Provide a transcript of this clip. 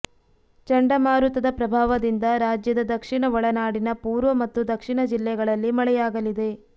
ಚಂಡಮಾರುತದ ಪ್ರಭಾವದಿಂದ ರಾಜ್ಯದ ದಕ್ಷಿಣ ಒಳನಾಡಿನ ಪೂರ್ವ ಮತ್ತು ದಕ್ಷಿಣ ಜಿಲ್ಲೆಗಳಲ್ಲಿ ಮಳೆಯಾಗಲಿದೆ